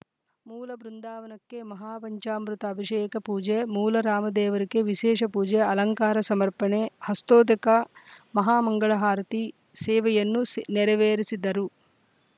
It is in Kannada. ಮೂಲ ಬೃಂದಾವನಕ್ಕೆ ಮಹಾಪಂಚಾಮೃತ ಅಭಿಷೇಕಪೂಜೆ ಮೂಲರಾಮದೇವರಿಗೆ ವಿಶೇಷ ಪೂಜೆ ಅಲಂಕಾರ ಸಮರ್ಪಣೆ ಹಸ್ತೋದಕ ಮಹಾಮಂಗಳ ಆರತಿ ಸೇವೆಯನ್ನು ನೆರವೇರಿಸಿದರು